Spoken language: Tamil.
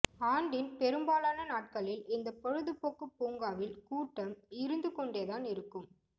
ஆண்டின் பெரும்பாலான நாட்களில் இந்த பொழுதுபோக்கு பூங்காவில் கூட்டம் இருந்து கொண்டேதான் இருக்கம்